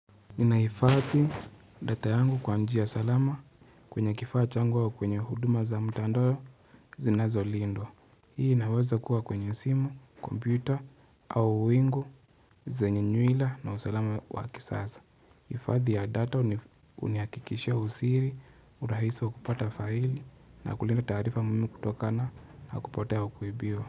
Ninahifadhi data yangu kwa njia salama kwenye kifaa changu au kwenye huduma za mtandao zinazolindwa Hii inaweza kuwa kwenye simu, kompyuta au wingu zenye nywila na usalama waki sasa Hifathi ya data hunihakikishia usiri, urahisi wa kupata faili na kulinda taarifa muhimu kutokana na kupotea kwa kuibiwa.